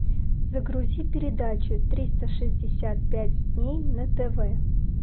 загрузи передачу триста шестьдесят пять дней на тв